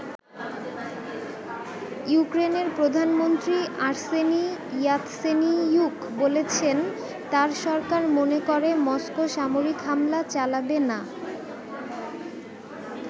ইউক্রেনের প্রধানমন্ত্রী Arseniy Yatsenyuk বলেছেন তার সরকার মনে করে মস্কো সামরিক হামলা চালাবে না।